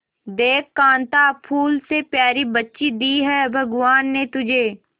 देख कांता फूल से प्यारी बच्ची दी है भगवान ने तुझे